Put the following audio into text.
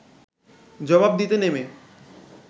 জবাব দিতে নেমে